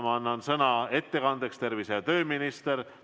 Ma annan sõna ettekandeks tervise‑ ja tööministrile.